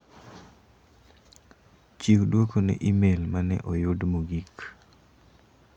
Chiw duoko ne imel mane oyud mogik.